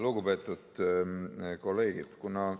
Lugupeetud kolleegid!